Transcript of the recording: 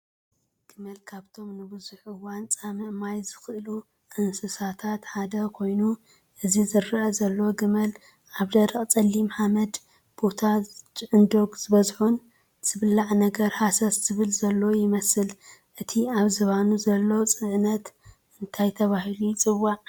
ግመል ካብቶም ንቡዙሕ እዋን ፃምእ ማይ ዝኽእሉ እንስሳታት ሓደ ኾይኑ እዚ ዝረአ ዘሎ ግመል ኣብ ደረቕ ፀሊም ሓመዱ ቦታን ጭዕንዶግ ዝበዝሖን ዝብላዕ ነገር ሃሰስ ዝብል ዘሎ ይመስል፡፡ እቲ ኣብ ዝባኑ ዘሎ ፅዕነት እንታይ ተባሂሉ ይፅዋዕ?